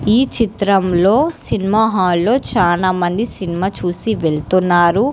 ఈ చిత్రంలో సినిమా హాల్లో చాలామంది సినిమా చూసి వెళ్తున్నారు.